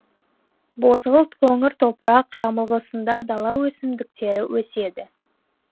бозғылт қоңыр топырақ жамылғысында дала өсімдіктері өседі